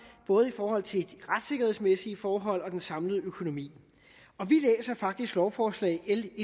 både i forhold til de retssikkerhedsmæssige forhold og den samlede økonomi og vi læser faktisk lovforslag l